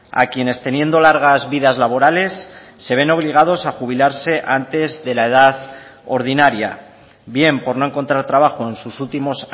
a quienes teniendo largas vidas laborales se ven obligados a jubilarse antes de la edad ordinaria bien por no encontrar trabajo en sus últimos